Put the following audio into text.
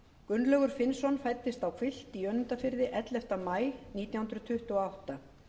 gunnlaugur finnsson fæddist á hvilft í önundarfirði ellefta maí nítján hundruð tuttugu og átta